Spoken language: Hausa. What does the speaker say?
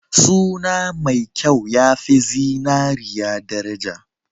Suna mai kyau ya fi zinariya daraja.